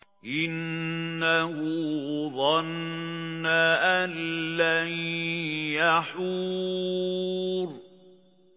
إِنَّهُ ظَنَّ أَن لَّن يَحُورَ